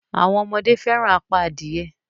Àwọn ọmọdé fẹràn apá adìye.